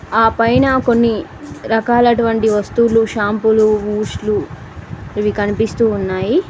ఆ పైన కొన్ని రకాల అటువంటి వస్తువులు షాంపూలు బూస్ట్ లు ఇవి కనిపిస్తూ ఉన్నాయి.